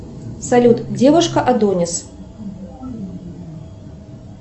салют девушка адонис